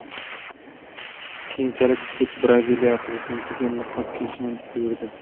Keyinchalik sud Braziliya prezidentiga niqob kiyishni buyurdi.